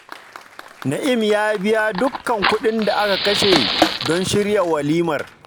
Na'im ya biya dukka kuɗin da aka kashe don shirya walimar